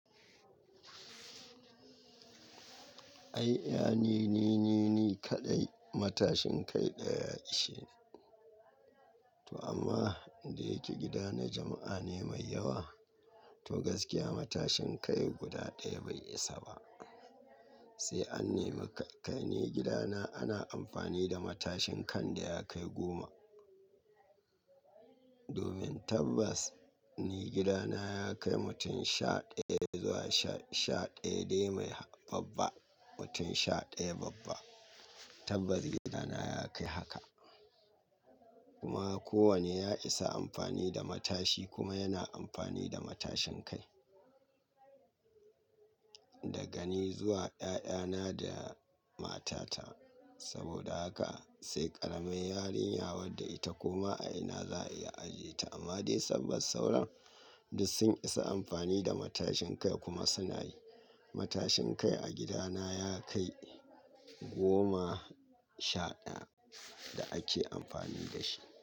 Ai, ya ne ni ne ni kaɗai matashin kai ɗaya ish, to amma da yake gida na jama'a ne mai yawa, to gaskiya matashin kai guda ɗaya bai isa ba. Sai an nemi kai ne gidana ana amfani da matashin kan da ya kai goma. Domin tabbas ni gidana ya kai mutum sha ɗaya zuwa sha ɗaya dai mai babba, mutum sha ɗaya babba. Tabbas gidana ya kai haka. Kuma kowane ya isa amfani da matashi kuma yana amfani da matashin kai. Da gani zuwa ƴaƴana da matata. Saboda haka sai ƙaramar yarinya wadda ita kuma a ina za a iya aje ta amma dai tabbas sauran duk sun isa amfani da matashin kai kuma suna yi. Matashin kai a gidana ya kai goma sha ɗaya da ake amfani da shi.